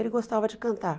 Ele gostava de cantar.